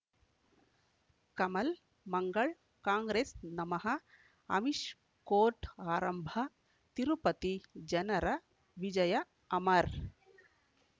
ಕಮಲ್ ಮಂಗಳ್ ಕಾಂಗ್ರೆಸ್ ನಮಃ ಅಮಿಷ್ ಕೋರ್ಟ್ ಆರಂಭ ತಿರುಪತಿ ಜನರ ವಿಜಯ ಅಮರ್